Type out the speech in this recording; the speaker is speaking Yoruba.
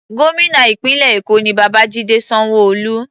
Gómìnà ìpínlẹ̀ Èkó ni Babajide Sanwo-Olu.